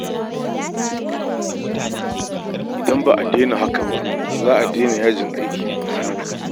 Idan ba a daina haka ba, ba za a daina yajin aiki ba